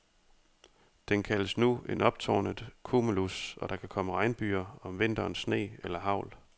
Den kaldes nu en optårnet cumulus, og der kan komme regnbyger, om vinteren sne eller hagl.